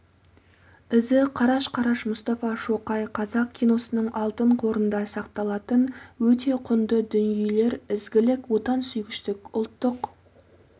ізі қараш-қараш мұстафа шоқай қазақ киносының алтын қорында сақталатын өте құнды дүниелер ізгілік отансүйгіштік ұлттық